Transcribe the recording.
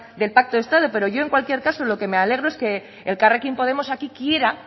del pacto de estado pero yo en cualquier caso lo que me alegro es que elkarrekin podemos aquí quiera